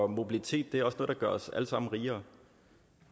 mobilitet er også noget der gør os alle sammen rigere